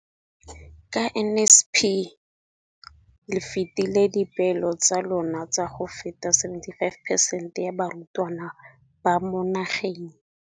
Ka NSNP le fetile dipeelo tsa lona tsa go fepa masome a supa le botlhano a diperesente ya barutwana ba mo nageng.